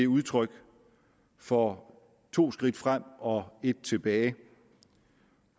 udtryk for to skridt frem og et tilbage